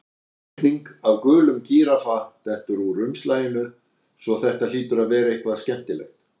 Teikning af gulum gíraffa dettur úr umslaginu svo þetta hlýtur að vera eitthvað skemmtilegt.